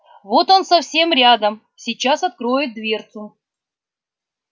вот он совсем рядом сейчас откроет дверцу